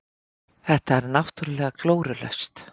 Þetta er náttúrulega glórulaust.